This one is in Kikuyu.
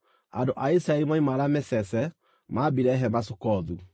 Andũ a Isiraeli moima Ramesese, maambire hema Sukothu.